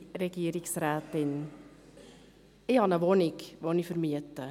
Ich habe eine Wohnung, welche ich vermiete.